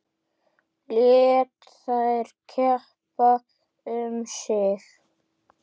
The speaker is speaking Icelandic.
Lét þær keppa um sig.